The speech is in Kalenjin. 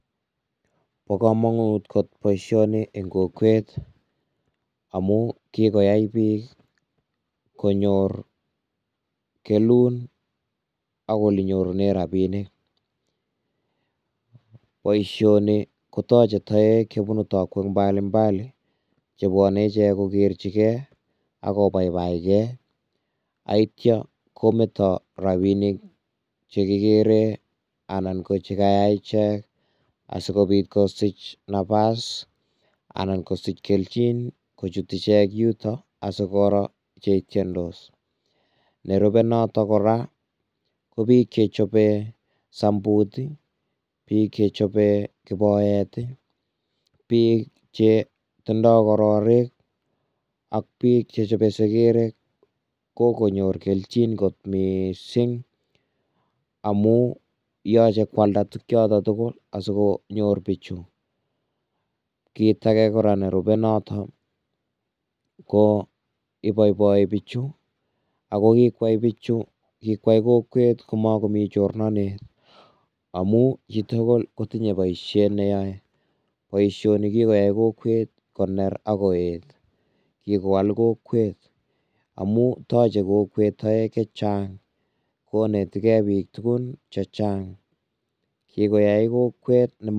Bo komonut kot boisioni eng kokwet amun kikoyai bik konyor kelun ak ole nyorunen rabinik, boisioni kotoje toek jebunu tokwek mbali mbali chebwone ichek kokerchike, akobaibaike, ak yeityo kometo rabinik chekikeren, anan ko che kayay ichek asikobit kosich nabas anan kosich keljin kojut ichek yutok asikoro chetyendos, nerube notok kora ko bik chechobe sambut ii, bik bik chechobe kiboret ii, bik che tindoi kororik, ak bik chechobe sekerek, kokonyor keljin kot mising amun yoche ko alda tuguk Choton tugul asikonyor biju, kit ake, ko iboiboi bichu ako kikway kokwet komokomi chorornonet amun jito kotinye boisiet neyoe, boisioni ko kikoyay kokwet koner ak koyet, kikowal kokwet amun toche kokwet bik chechang ko ineteke bik tukun chechang.